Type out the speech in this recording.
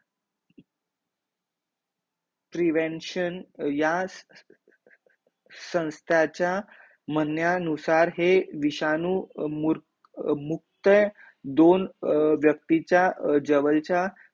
prevention ह्या संस्थाचा म्हण्यानुसार हे विषाणू अर मुक्तय जवळच्या व्यक्तीच्या